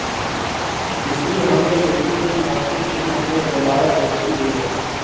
इसलिए हम यह बिल्कुल नहीं मानते कि हम में दोबारा दोस्ती हुई है